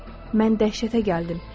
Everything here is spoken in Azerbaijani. Mən dəhşətə gəldim.